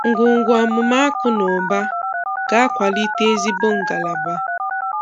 “Ngwungwu amụma akụ na ụba ga-akwalite ezigbo ngalaba.